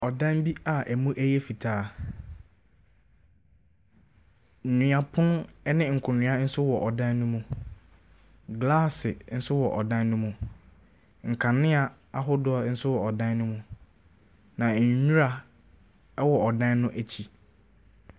Ɔdan bi a ɛmu ɛyɛ fitaa. Nnua pono ɛne nkonnwa nso ɛwɔ ɛdan no mu. Glasse nso wɔ ɛdan no mu. Nkanea ahodoɔ nso ɛwɔ ɛdan no mu. Na nnwira ɛwɔ ɛdan no akyi.